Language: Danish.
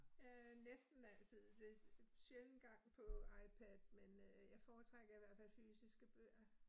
Øh næsten altid, det sjælden gang på IPad, men øh jeg foretrækker i hvert fald fysiske bøger